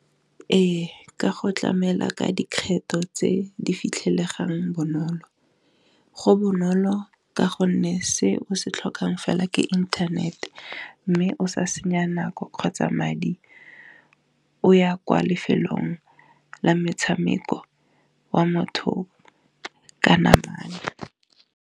Ee ka go tlamela ka dikgetho tse di fitlhelegang bonolo go bonolo ka gonne se o se tlhokang fela ke internet-e, mme o sa senya nako kgotsa madi o ya kwa lefelong la metshameko wa motho ka na bale.